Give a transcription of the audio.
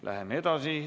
Läheme edasi.